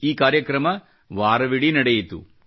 ಈ ಕಾರ್ಯಕ್ರಮ ವಾರವಿಡೀ ನಡೆಯಿತು